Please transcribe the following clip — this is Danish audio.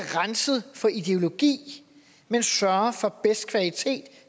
renset for ideologi men sørger for bedst kvalitet